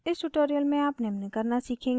इस ट्यूटोरियल में आप निम्न करना सीखेंगे: